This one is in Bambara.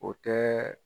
O tɛ